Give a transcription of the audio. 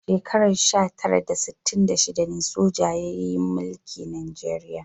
A shekarar sha tara da sittin da shida ne soja ya mulki Najeriya.